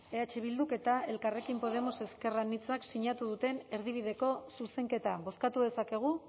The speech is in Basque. eh bilduk eta elkarrekin podemos ezker anitzak sinatu duten erdibideko zuzenketa bozkatu dezakegu